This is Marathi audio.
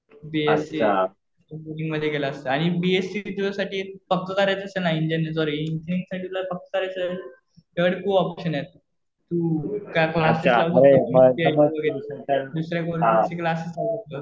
बीएससी मध्ये गेलास तर आणि बीएससी किती दिवसासाठी आहे पक्क करायचं असेल ना इंजिनीअरिंग साठी पक्क करायचं असेल ना तुझ्याकडं खूप ऑप्शन आहेत. तू दुसरं गव्हर्मेन्टचे क्लासेस करू शकतोस.